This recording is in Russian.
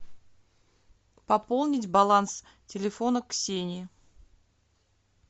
пополнить баланс телефона ксении